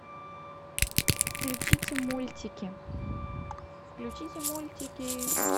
включите мультики включите мультики